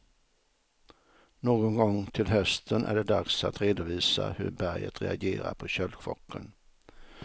Någon gång till hösten är det dags att redovisa hur berget reagerat på köldchocken.